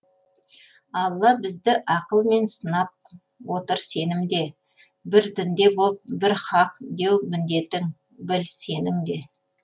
аллаһ бізді ақыл мен сынап отыр сенімде бір дінде боп бір хақ деу міндетің біл сенің де